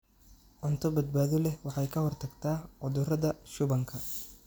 Cunto badbaado leh waxay ka hortagtaa cudurrada shubanka.